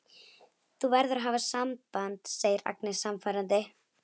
Þú verður að hafa samband, segir Agnes sannfærandi.